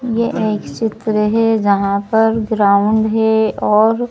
यह एक चित्र है यहां पर ग्राउंड है।